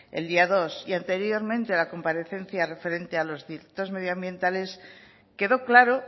el día dos y anteriormente en la comparecencia referente a los delitos medioambientales quedó claro